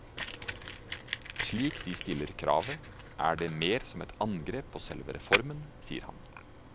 Slik de stiller kravet er det mer som et angrep på selve reformen, sier han.